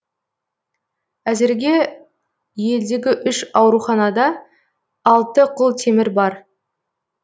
әзірге елдегі үш ауруханада алты құлтемір бар